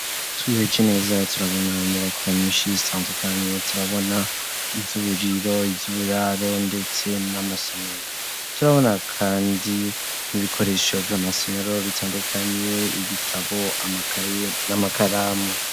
Twihweje neza, turabona inyubako nyinshi, zitandukanye, turabona iz'uburiro, iz'uburaro, ndetse n'amasomero; turabona kandi, n'ibikoresho vyo mu masomero, bitandukanye; ibitabo, amakaye, n'amakaramu.